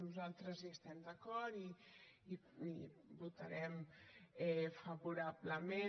nosaltres hi estem d’acord i hi votarem favorablement